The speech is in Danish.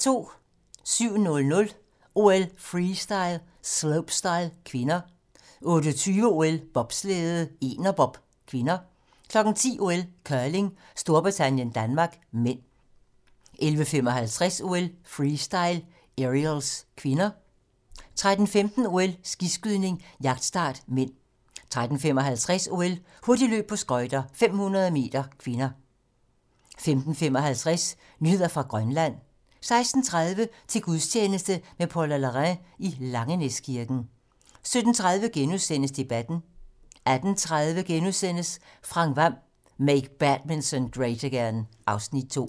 07:00: OL: Freestyle - slopestyle (k) 08:20: OL: Bobslæde - enerbob (k) 10:00: OL: Curling - Storbritannien-Danmark (m) 11:55: OL: Freestyle - Aerials (k) 13:15: OL: Skiskydning - jagtstart (m) 13:55: OL: Hurtigløb på skøjter - 500 m (k) 15:55: Nyheder fra Grønland 16:30: Til gudstjeneste med Paula Larrain i Langenæskirken 17:30: Debatten * 18:30: Frank Hvam: Make Badminton Great Again (Afs. 2)*